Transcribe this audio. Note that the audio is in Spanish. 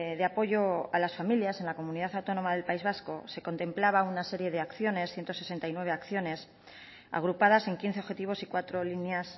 de apoyo a las familias en la comunidad autónoma del país vasco se contemplaba una serie de acciones ciento sesenta y nueve acciones agrupadas en quince objetivos y cuatro líneas